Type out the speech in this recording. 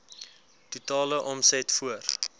totale omset voor